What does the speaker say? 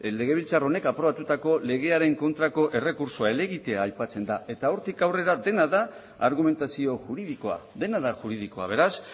legebiltzar honek aprobatutako legearen kontrako errekurtsoa helegitea aipatzen da eta hortik aurrera dena da argumentazio juridikoa dena da juridikoa beraz